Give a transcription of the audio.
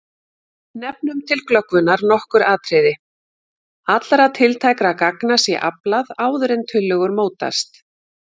Nefnum til glöggvunar nokkur atriði: Allra tiltækra gagna sé aflað áður en tillögur mótast.